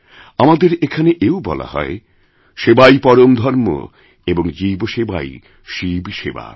আমাদেরএখানে এও বলা হয় সেবাই পরমধর্ম এবং জীব সেবাই শিবসেবা